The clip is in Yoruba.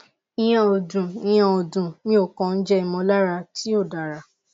ìyẹn ò dùn ìyẹn ò dùn mí ò kàn jẹ ìmọ̀lára tí ò dáŕa